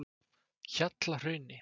Hjallahrauni